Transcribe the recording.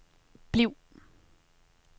bliv